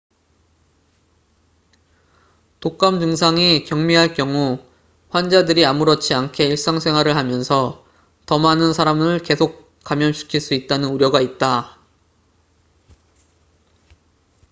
독감 증상이 경미할 경우 환자들이 아무렇지 않게 일상생활을 하면서 더 많은 사람을 계속 감염시킬 수 있다는 우려가 있다